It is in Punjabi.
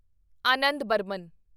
ਆਨੰਦ ਬਰਮਨ